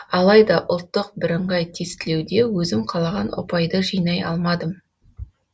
алайда ұлттық бірыңғай тестілеуде өзім қалаған ұпайды жинай алмадым